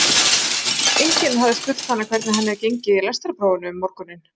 Enginn hafði spurt hana hvernig henni hefði gengið í lestrarprófinu um morguninn.